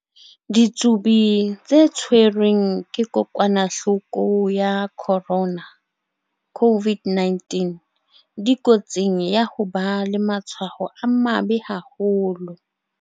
Ditsubi tse tshwerweng ke kokwa-nahloko ya corona, COVID-19, dikotsing ya ho ba le matshwao a mabe haholo.